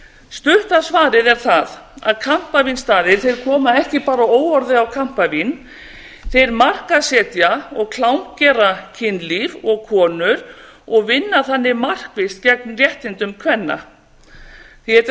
stutta svarið er það að kampavínsstaðir koma ekki bara óorði á kampavín þeir markaðssetja og klámgera kynlíf og konur og vinna þannig markvisst gegn réttindum kvenna því að þetta